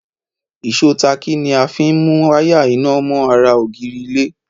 Ìsó táákì ni a fín mú wáyà iná mọ́ ara ògiri ilé